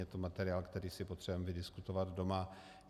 Je to materiál, který si potřebujeme vydiskutovat doma.